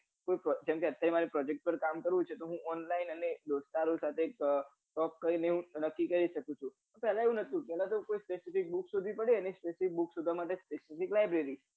અત્યારે ને અત્યારે મરે project ઉપર કમ કરવું છે તો હું online અને દોસ્તારો સાથે તપ કરીને હું અલગ થી કરી સકું છું પેલા એવું નતુ પેલા તો કોઈ pesefik book પડે specifik libeary